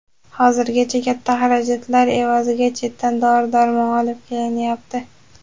Hozirgacha katta xarajatlar evaziga chetdan dori-darmon olib kelinyapti.